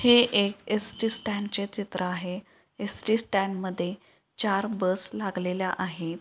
हे एक ST stand चे चित्र आहे एसटी स्टँडमध्ये चार बस लागलेल्या आहेत.